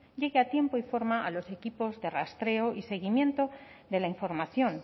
llegue a tiempo y forma a los equipos de rastreo y seguimiento de la información